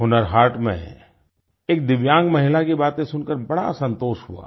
हुनर हाट में एक दिव्यांग महिला की बातें सुनकर बड़ा संतोष हुआ